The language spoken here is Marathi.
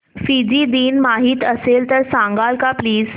फिजी दिन माहीत असेल तर सांगाल का प्लीज